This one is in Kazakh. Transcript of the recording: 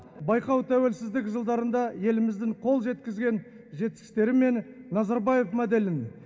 байқау тәуелсіздік жылдарында еліміздің қол жеткізген жетістіктерін мен назарбаев моделін